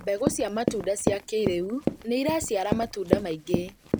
Mbegũ cia matunda cia kĩrĩu nĩiraciara matunda maingĩ